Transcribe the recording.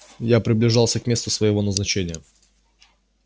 я приближался к месту своего назначения